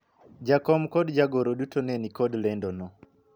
jakom kod jagoro duto ne nikod lendo no